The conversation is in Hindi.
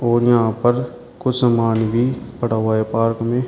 और यहां पर कुछ सामान भी पड़ा हुआ है पार्क में।